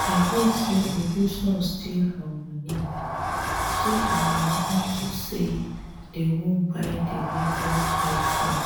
i hear say uju son steal her money steal her money unto say the wan buy the latest i-phone